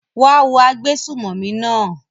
wá á wo agbésùmọ̀mí náà!